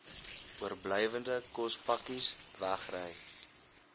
oorblywende kospakkes wegry